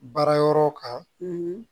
Baara yɔrɔ kan